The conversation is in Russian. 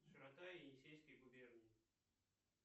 широта енисейской губернии